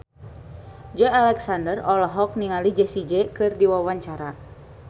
Joey Alexander olohok ningali Jessie J keur diwawancara